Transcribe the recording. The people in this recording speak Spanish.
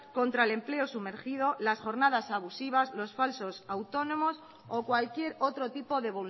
contra el empleo sumergido las jornadas abusivas los falsos autónomos o cualquier otro tipo de